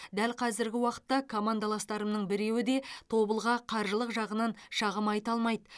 дәл қазіргі уақытта командаластарымның біреуі де тобылға қаржылық жағынан шағым айта алмайды